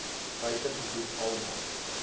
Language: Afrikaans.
buite gebied almal